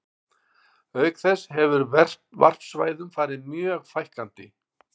Auk þess hefur varpsvæðum farið mjög fækkandi.